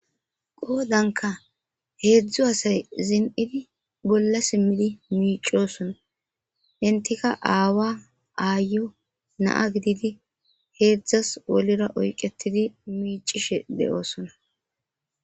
Qoddanikka hedzu assayi zinidhidi bolla simi miccosonna entikka aawa, ayo na'a gididi hedzasi wolira oyiqetidi micishe deyosona